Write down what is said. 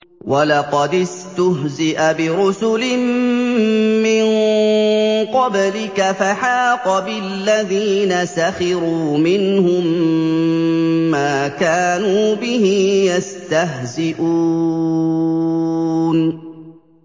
وَلَقَدِ اسْتُهْزِئَ بِرُسُلٍ مِّن قَبْلِكَ فَحَاقَ بِالَّذِينَ سَخِرُوا مِنْهُم مَّا كَانُوا بِهِ يَسْتَهْزِئُونَ